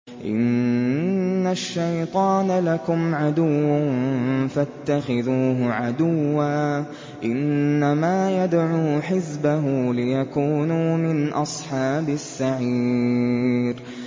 إِنَّ الشَّيْطَانَ لَكُمْ عَدُوٌّ فَاتَّخِذُوهُ عَدُوًّا ۚ إِنَّمَا يَدْعُو حِزْبَهُ لِيَكُونُوا مِنْ أَصْحَابِ السَّعِيرِ